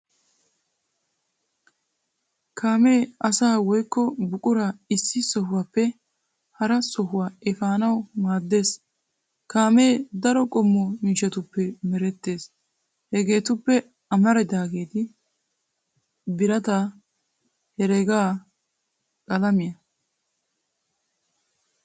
Kaamee asaa woykko buquraa issi sohuaappe hara sohuwaa efaanawu maaddees. Kaamee daro qommo miishshatuppe merettees hegeetuppe amaridaageeti :-birataa, heregaa, qalamiyaa.